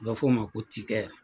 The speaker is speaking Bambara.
A bɛ f'o ma ko .